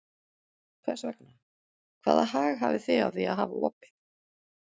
Hvers vegna, hvaða hag hafið þið af því að hafa opið?